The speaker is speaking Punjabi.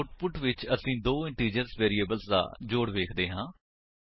ਆਉਟਪੁਟ ਵਿੱਚ ਅਸੀ ਦੋ ਇੰਟੀਜਰਸ ਵੇਰਿਏਬਲਸ ਦਾ ਜੋੜ ਵੇਖਦੇ ਹਾਂ